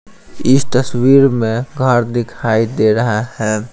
इस तस्वीर में घर दिखाई दे रहा है।